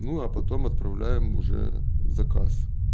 ну а потом отправляем уже заказ